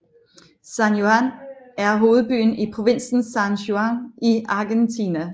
San Juan er hovedbyen i provinsen San Juan i Argentina